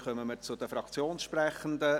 Somit kommen wir zu den Fraktionssprechenden.